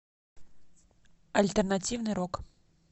альтернативный рок